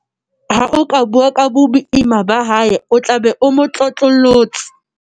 ha o ka bua ka boima ba hae o tla be o mo tlotlollotse